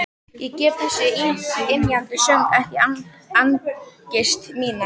Ég gef þessum ymjandi söng ekki angist mína.